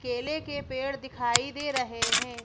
केले के पेड़ दिखाई दे रहे हैं।